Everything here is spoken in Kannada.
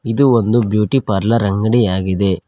ಇದು ಒಂದು ಬ್ಯೂಟಿ ಪಾರ್ಲರ್ ಅಂಗಡಿಯಾಗಿದೆ.